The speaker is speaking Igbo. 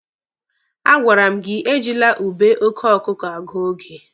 A gwara m gị ejila ube oke ọkụkụ agụ oge!